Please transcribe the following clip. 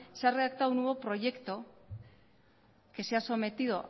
se ha redactado un nuevo proyecto que se ha sometido